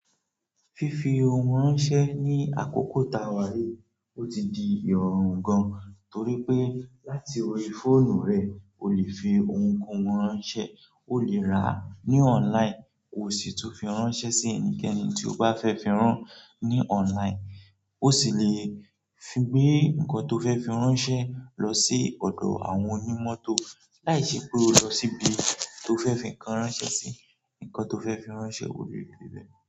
Fífi ohun ránṣẹ́ ní àkókò ta wa yíí ó ti di ìròrùn gan-an, torí pé láti orí fóònù rẹ o le fi ohunkóhun ránṣẹ́, o le ra ní online, o sì tún fi ránṣẹ́ sí ẹnikẹ́ni tí o bá fẹ́ fi rán ní online, o sì le fi gbé nǹkan tó fẹ́ fi ránṣẹ́ lọ sí ọ̀dọ̀ àwọn onímọ́tò láìṣe pe o lọ síbi tó fẹ́ fi nǹkan ránṣẹ́ sí. Nǹkan tó fẹ́ fi ránṣẹ́ ó lè dé bé.